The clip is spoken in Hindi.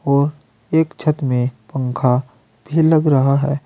और एक छत में पंखा भी लग रहा है।